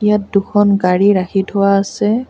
ইয়াত দুখন গাড়ী ৰাখি থোৱা আছে।